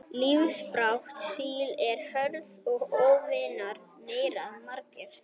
Lífsbarátta síla er hörð og óvinir þeirra margir.